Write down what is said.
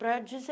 Pra